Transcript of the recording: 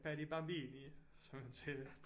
Per di bambini som han sagde det